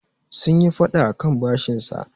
sun yi fada akan bashinsa